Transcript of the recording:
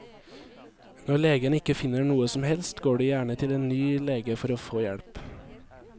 Når legen ikke finner noe som helst, går de gjerne til en ny lege for å få hjelp.